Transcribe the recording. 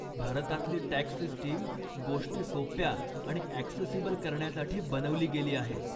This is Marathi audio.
भारतातली टॅक्स सिस्टीम गोष्टी सोप्या आणि ॲक्सेसिबल करण्यासाठी बनवली गेली आहे.